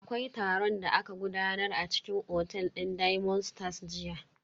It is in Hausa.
Akwai taron da aka gudanar a cikin otel din diamond stars jiya.